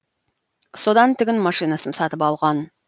содан тігін машинасын сатып алған